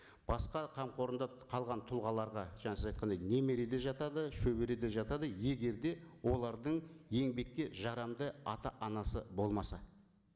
басқа қамқорында қалған тұлғаларға жаңа сіз айтқандай немере де жатады шөбере де жатады егер де олардың еңбекке жарамды ата анасы болмаса